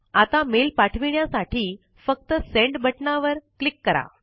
आता मेल पाठविण्यासाठी फक्त सेंड बटनावर क्लिक करा